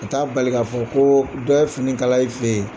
O ta bali ka fɔ ko dɔ ye fini kala i fɛ yen.